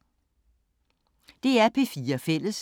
DR P4 Fælles